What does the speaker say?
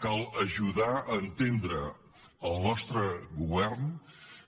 cal ajudar a entendre al nostre govern